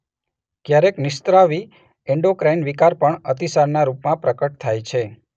ક્યારેક નિઃસ્રાવી એંડોક્રાઇન વિકાર પણ અતિસારના રૂપમાં પ્રકટ થાય છે